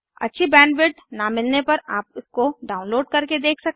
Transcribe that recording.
अच्छी बैंडविड्थ न मिलने पर आप इसको डाउनलोड करके देख सकते हैं